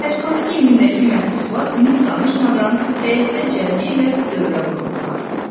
Həbsxana geyimindəki məhbuslar dinib danışmadan həyətdə cərgə ilə dövrə vururdular.